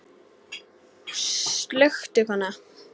Slökktu kona.